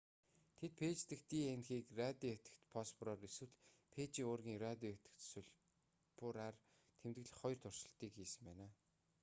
тэд фээж дэх днх-г радио идэвхит фосфороор эсвэл фээжийн уургийн радио идэвхит сульфураар тэмдэглэх хоёр туршилтыг хийсэн байна